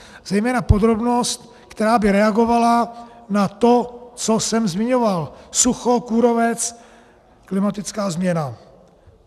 Zejména podrobnost, která by reagovala na to, co jsem zmiňoval - sucho, kůrovec, klimatická změna.